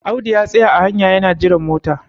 Audu ya tsaya a hanya yana jiran mota